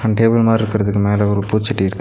அந்த டேபிள் மாரி இருக்குறதுக்கு மேல ஒரு பூச்சட்டி இருக்கு.